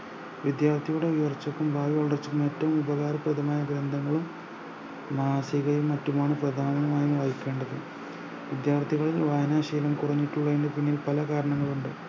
വിദ്യാർത്ഥിയുടെ ഉയർച്ചക്കും ഭാവി വളർച്ചക്കും ഏറ്റോം ഉപകാരപ്രദമായ ഗ്രന്ദങ്ങളും മാസികയും മറ്റുമാണ് പ്രധാനമായും വഹിക്കേണ്ടത് വിദ്യാർത്ഥികളിൽ വായനാ ശീലം കുറഞ്ഞിട്ടുള്ളയിൻറെ പിന്നിൽ പല കാരണങ്ങൾ ഉണ്ട്